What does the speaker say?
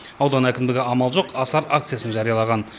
аудан әкімдігі амал жоқ асар акциясын жариялаған